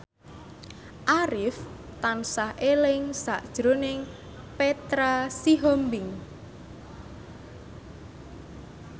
Arif tansah eling sakjroning Petra Sihombing